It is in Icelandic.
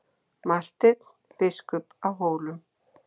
MARTEINN BISKUP Á HÓLUM